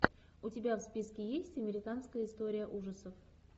у тебя в списке есть американская история ужасов